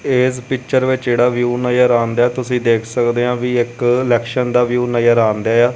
ਇਸ ਪਿਕਚਰ ਵਿੱਚ ਜੇਹੜਾ ਵਿਊਹ ਨਜ਼ਰ ਆਂਦੇਯਾ ਹੈ ਤੁਸੀਂ ਦੇਖ ਸਕਦੇ ਹਾਂ ਏਵੀ ਇੱਕ ਇਲੈਕਸ਼ਨ ਦਾ ਵਿਊਹ ਨਜ਼ਰ ਆਂਦੇਯਾ ਹੈ।